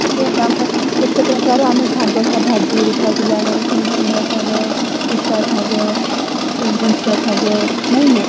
କେତେ ପ୍ରକାର ଆମେ ଶାଗ ଭାଜିକିରି ଖାଉଥିଲେ ଆମର ସୁନସୁଣିଆ ଶାଗ ପିତା ଶାଗ ଶାଗ ନାଇକି?